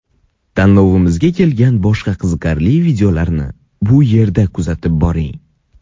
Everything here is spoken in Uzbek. Tanlovimizga kelgan boshqa qiziqarli videolarni bu yerda kuzatib boring.